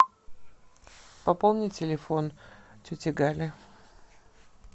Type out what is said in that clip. пополни телефон тети гали